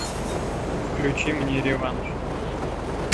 включи мне реванш